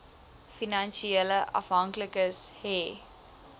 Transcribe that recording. finansiële afhanklikes hê